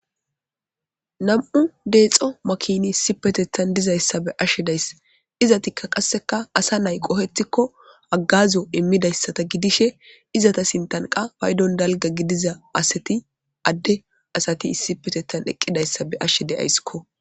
Nam'u dexxo makkini issippe dizayisa be'ayisi de'ayisi izettika qasekka asa na'i qohettiko haggazo immidaysata giddishe izeta sintan qa payiddon dalgga asati adde asati issipetetan eqqidayisa be'ashe de'ayiskko.